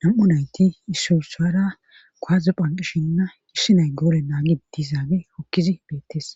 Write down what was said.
nam7u nayti issusara koaze phanqishinna qissi nay goole naagi dizaabe hokkizi beettes.